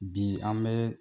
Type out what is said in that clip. Bi an bɛ